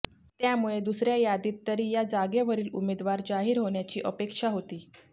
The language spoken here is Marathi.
त्यामुळे दुसर्या यादीत तरी या जागेवरील उमेदवार जाहीर होण्याची अपेक्षा होती